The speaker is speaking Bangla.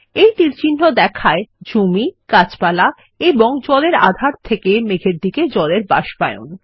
এই তীরচিহ্ন দেখায় জমি গাছপালা এবং জলের আধার থেকে মেঘের দিকে জলের বাষ্পায়ন